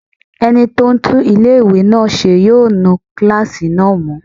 Ẹni tó ń tún ilé-ìwé náà ṣe yóò nu kílásì náà mọ́